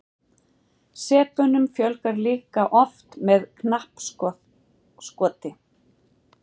sepunum fjölgar líka oft með knappskoti